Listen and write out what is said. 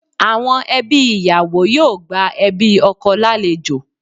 Àwọn ẹbí ìyàwó yóò gba ẹbí ọkọ lálejò